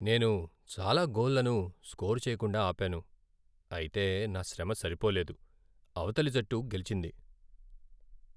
నేను చాలా గోల్లను స్కోర్ చేయకుండా ఆపాను, అయితే నా శ్రమ సరిపోలేదు, అవతలి జట్టు గెలిచింది.